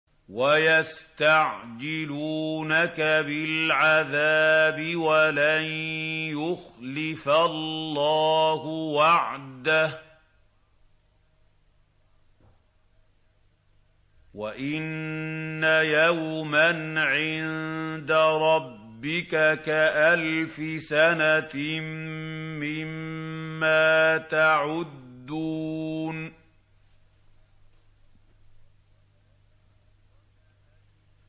وَيَسْتَعْجِلُونَكَ بِالْعَذَابِ وَلَن يُخْلِفَ اللَّهُ وَعْدَهُ ۚ وَإِنَّ يَوْمًا عِندَ رَبِّكَ كَأَلْفِ سَنَةٍ مِّمَّا تَعُدُّونَ